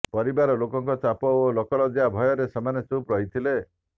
ପରିବାର ଲୋକଙ୍କ ଚାପ ଓ ଲୋକଲଜୃା ଭୟରେ ସେମାନେ ଚୁପ୍ ରହିଥିଲେ